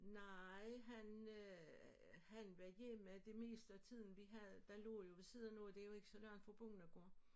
Nej han øh han var hjemme det meste af tiden vi havde der lå jo ved siden af nogle det jo ikke så langt fra bondegård